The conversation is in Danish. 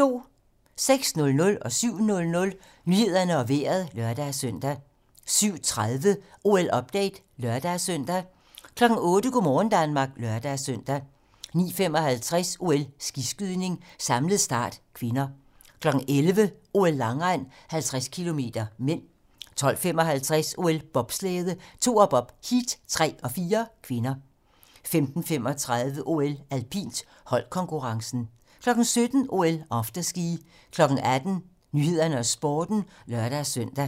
06:00: Nyhederne og Vejret (lør-søn) 07:00: Nyhederne og Vejret (lør-søn) 07:30: OL-update (lør-søn) 08:00: Go' morgen Danmark (lør-søn) 09:55: OL: Skiskydning - samlet start (k) 11:00: OL: Langrend - 50 km (m) 12:55: OL: Bobslæde - toerbob, heat 3 og 4 (k) 15:35: OL: Alpint - holdkonkurrencen 17:00: OL: Afterski 18:00: 18 Nyhederne og Sporten (lør-søn)